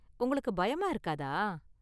உங்களுக்கு பயமா இருக்காதா?